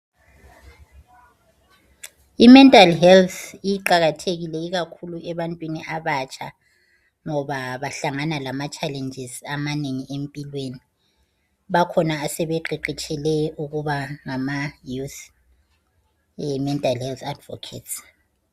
I mental health iqakathekile ikakhulu ebantwini abatsha ngoba bahlangana lama challenges amanengi empilweni. Bakhona asebeqeqetshile ukuba ngama nesi e mental health advocacy